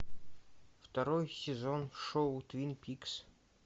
второй сезон шоу твин пикс